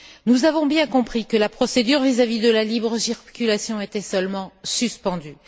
Nous avons bien compris que la procédure vis à vis de la libre circulation était seulement suspendue.